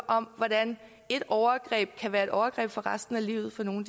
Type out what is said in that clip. om hvordan et overgreb kan være et overgreb for resten af livet for nogle